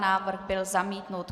Návrh byl zamítnut.